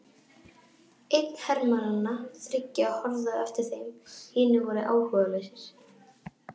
Einn hermannanna þriggja horfði á eftir þeim, hinir voru áhugalausir.